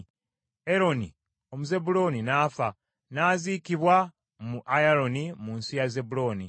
Eroni Omuzebbulooni n’afa, n’aziikibwa mu Ayalooni mu nsi ya Zebbulooni.